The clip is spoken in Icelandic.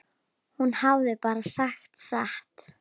Hún hafði bara sagt satt.